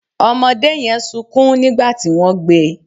Ọmọdé yẹn sunkún nígbà tí wọ́n gbé e